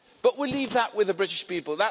We'll leave that with the British people.